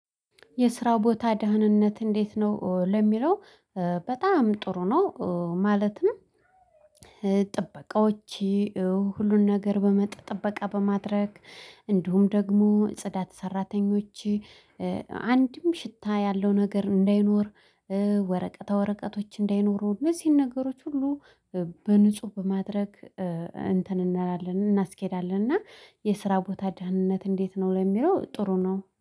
የስራው ቦታ ደህንነት እንዴት ነው? ለሚለው በጣም ጥሩ ነው። ማለትም ጥበቃዎቼ ሁሉን ነገር ጥበቃ በማድረግ እንዲሁም ደግሞ ጽዳት ሰራተኞቼ አንድም ሽታ ያለው ነገር እንዳይኖር ወረቀታ ወረቀቶች እንዳይኖሩ እነዚህን ነገሮች ሁሉ በንጹህ በማድረግ እንትን እናላለን እናስኬዳለን። እና የስራ ቦታ ደህንነት እንዴት ነው ለሚለው ጥሩ ነው።